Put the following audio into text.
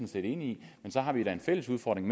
set enig i men så har vi da en fælles udfordring